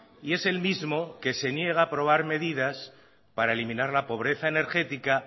y es el mismo que se niega a aprobar medidas para eliminar la pobreza energética